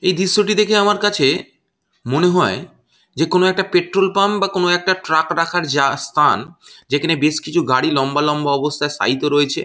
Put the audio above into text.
এই দৃশ্যটি দেখে আমার কাছে মনে হয় যে কোনো একটা পেট্রল পাম্প বা কোনো একটা ট্রাক রাখার যা স্থান যেখানে বেশ গাড়ি কিছু গাড়ি লম্বা লম্বা অবস্থায় শায়িতো রয়েছে।